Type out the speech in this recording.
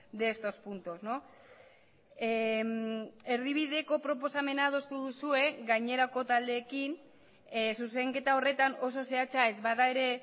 de estos puntos erdibideko proposamena adostu duzue gainerako taldeekin zuzenketa horretan oso zehatza ez bada ere